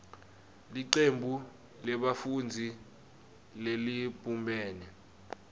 licembu lebafundzi lelibumbene